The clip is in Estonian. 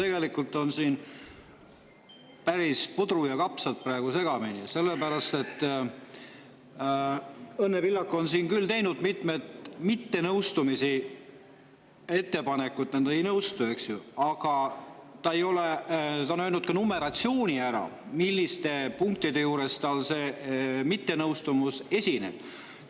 Tegelikult on siin praegu päris puder ja kapsad segamini, sellepärast et Õnne Pillak on siin küll teinud mittenõustumisi – ettepanekud, millega ta ei nõustu, eks ju –, ta on öelnud ka numeratsiooni ära, milliste punktide juures tal see mittenõustumine esineb.